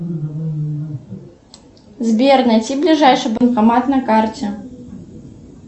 сбер найти ближайший банкомат на карте